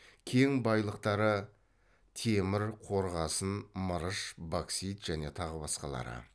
кен байлықтары темір қорғасын мырыш боксит және тағы басқалары